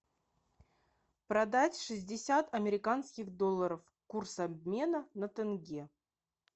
продать шестьдесят американских долларов курс обмена на тенге